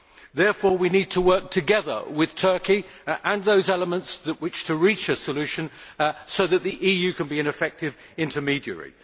Therefore we need to work together with Turkey and those elements that wish to reach a solution, so that the EU can be an effective intermediary.